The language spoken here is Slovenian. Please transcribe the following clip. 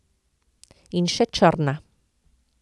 In še črna.